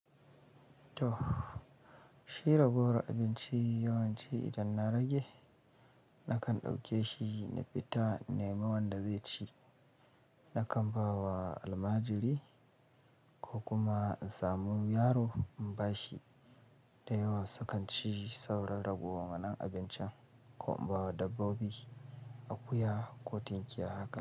To shira ragowar abinci yawanci idan na rage nakan ɗauke shi na fita na nema wanda zai ci, nakan ba wa almajiri ko kuma in samu yaro in ba shi da yawa sukan ci sauran ragowar wannan abincin ko in ba wa dabbobi akuya ko tinkiya haka.